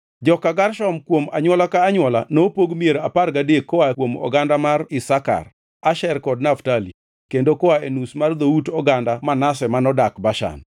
Joka Gershon, kuom anywola ka anywola nopog mier apar gadek koa kuom oganda mar Isakar, Asher kod Naftali, kendo koa e nus mar dhout oganda Manase manodak Bashan.